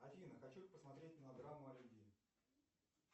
афина хочу посмотреть мелодраму о любви